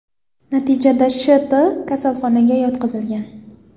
Natijada Sh.T kasalxonaga yotqizilgan.